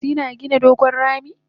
chipmunks yina gina dogon rami?